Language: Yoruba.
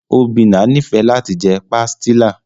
Obinna nifẹ lati jẹ pastilla.